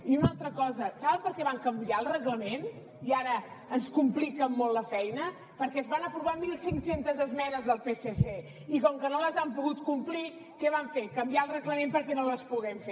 i una altra cosa saben per què van canviar el reglament i ara ens compliquen molt la feina perquè es van aprovar mil cinc cents esmenes del psc i com que no les han pogut complir què van fer canviar el reglament perquè no les puguem fer